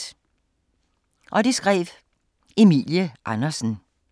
Af Emilie Andersen